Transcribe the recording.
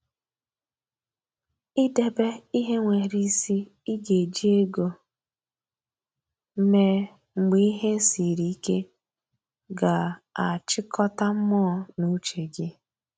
I debe ihe nwere isi I ga eji ego mee mgbe ihe siri ike ga a chịkọta mmụọ na uche gi